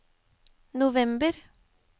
november